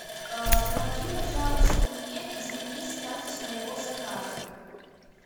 помоги пожалуйста мне изменить статус моего заказа